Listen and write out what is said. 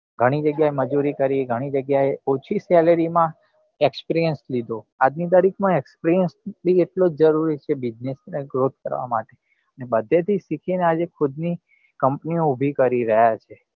ઘણી જગ્યા એ મજુરી કરી ગણી જગ્યા એ ઓછી salary માં experience લીધો આજ ની તારીખ માં experience બી એટલો જ જરૂરી છે business growth કરવા માટે ને બધે થી સીખી ને આજે ખુદ ની company ઉભી કરી રહ્યા છે